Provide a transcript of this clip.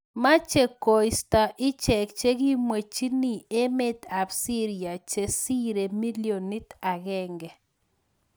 Machee koistaa icheek chekimwechini emeet ap siria chesiree milionit agenge